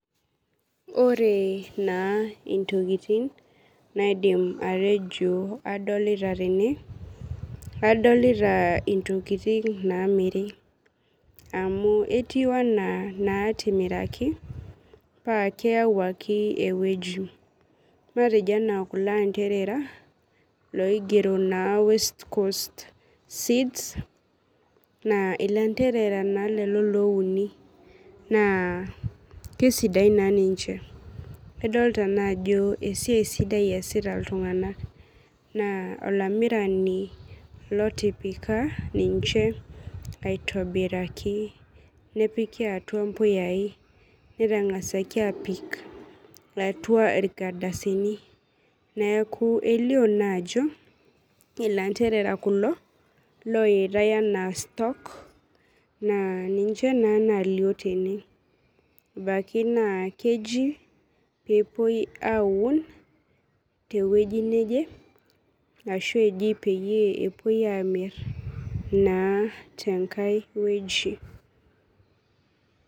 Ore na ntokitin naidim atejo kadolta tene adolta ntokitin namiri amu etiu ana natimiraki keyau ake ewueji keyau ake ena kulo anderera loigero na west coast seeds na ilanderera na lolo louni na kesidain ninche adolta ajo esiai sidai easita ltunganak naa olamirani otipika ninche aitobiraki nepiki atua mpuyai netangasa apik atua irkardasini neaku elio na ajo landerera kulo lapikitae ana stock na ninche na nalio tene ebaki na keji pepuoi aun tewueji neje ashu pepuoi amir tenkai wueji.